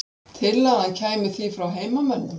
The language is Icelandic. Tillagan kæmi því frá heimamönnum